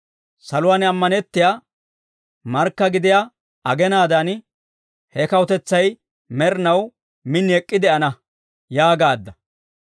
Saluwaan ammanettiyaa markka gidiyaa aginaadan, he kawutetsay med'inaw min ek'k'i de'ana» yaagaadda.